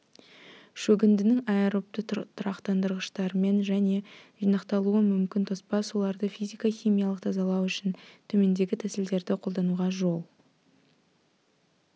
шөгіндінің аэробты тұрақтандырғыштармен және жинақталуы мүмкін тоспа суларды физика-химиялық тазалау үшін төмендегі тәсілдерді қолдануға жол